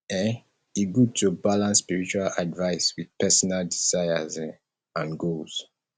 um e good to balance spiritual advice with personal desires um and goals